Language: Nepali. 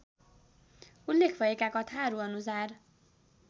उल्लेख भएका कथाहरूअनुसार